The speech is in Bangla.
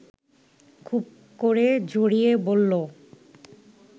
খুব করে জড়িয়ে বলল